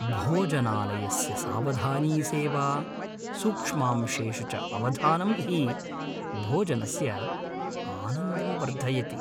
भोजनालयस्य सावधानी सेवा, सूक्ष्मांशेषु च अवधानम् हि भोजनस्य आनन्दं वर्धयति।